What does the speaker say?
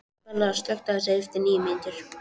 Bella, slökktu á þessu eftir níu mínútur.